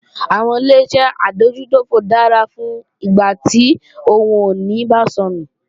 Àwọn Ileṣẹ́ adójútòfò dára fún ìgbà tí ohun ìní bá sọnù